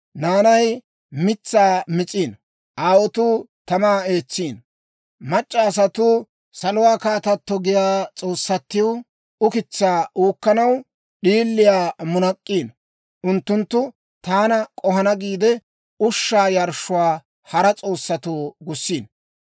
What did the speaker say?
Naanay mitsaa mis'iino; aawotuu tamaa eetsiino; mac'c'a asatuu, ‹Saluwaa kaatato› giyaa s'oossatiw ukitsaa uukkanaw d'iiliyaa munak'k'iino. Unttunttu taana k'ohana giide, ushshaa yarshshuwaa hara s'oossatoo gussiino.